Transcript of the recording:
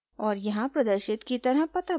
और यहाँ प्रदर्शित की तरह पता भरूँगी